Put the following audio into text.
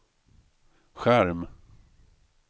skärm